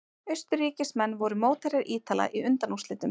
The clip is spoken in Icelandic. Austurríkismenn voru mótherjar Ítala í undanúrslitum.